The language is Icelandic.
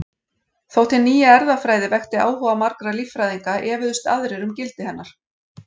Þótt hin nýja erfðafræði vekti áhuga margra líffræðinga efuðust aðrir um gildi hennar.